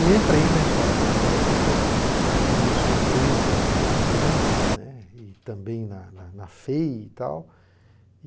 E entrei na Escola Politécnica, para a minha surpresa, muito bem, né, e também na na na FEI e tal.